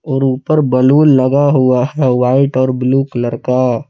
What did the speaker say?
और ऊपर बैलून लगा हुआ है व्हाइट और ब्लू कलर का।